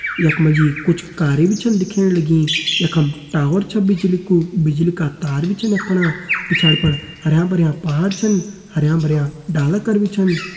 यख मा जी कुछ कारें भी छन दिखेण लगीं यखम टावर छ बिजली कु बिजली का तार भी छन यख पणा पिछाड़ी फण हरयां भर्यां पहाड़ छन हरयां भर्यां डाला कर भी छन।